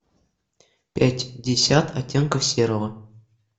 пятьдесят оттенков серого